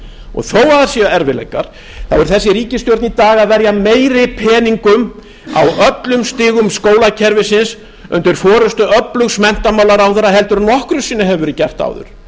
og þó að það séu erfiðleikar er þessi ríkisstjórn í dag að verja meiri peningum á öllum stigum skólakerfisins undir forustu öflugs menntamálaráðherra en nokkru sinni hefur verið gert áður